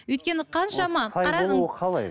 өйткені қаншама